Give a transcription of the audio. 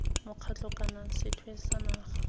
mokgatlho kana sethwe sa naga